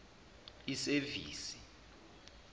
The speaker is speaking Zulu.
isevisi